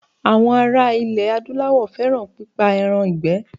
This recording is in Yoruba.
Àwọn ara ilẹ̀ Adúláwọ̀ fẹ́ràn pípa ẹran ìgbẹ́.